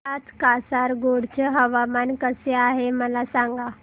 आज कासारगोड चे हवामान कसे आहे मला सांगा